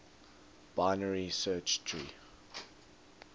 binary search tree